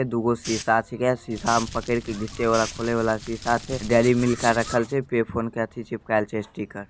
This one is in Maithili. दूगो शीशा छीके शीशा में पकड़ के घिचे वाले खोले वाला शीशा छे। डेयरी मिल्क आर रखल छे। पे-फ़ोने के अथी चिपकाएल छे स्टीकर ।